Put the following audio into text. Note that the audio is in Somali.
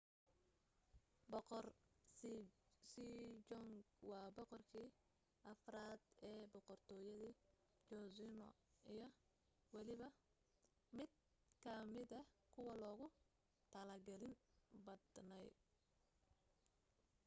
boqor sejong waa boqorkii afraad ee boqortooyadii joseon iyo weliba mid ka mida kuwa loogu tixgelin badnaa